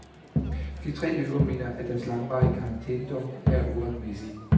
De tre løbere mener, at deres langvarige karantænedomme er uretmæssige.